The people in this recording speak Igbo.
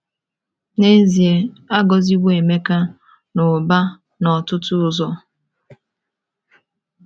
N’ezie, a gọziwo Emeka n’ụba n’ọtụtụ ụzọ.